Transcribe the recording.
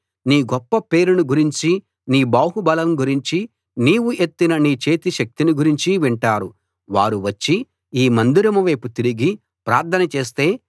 నీ గొప్ప పేరును గురించి నీ బాహుబలం గురించి నీవు ఎత్తిన నీ చేతి శక్తిని గురించి వింటారు వారు వచ్చి ఈ మందిరం వైపు తిరిగి ప్రార్థన చేస్తే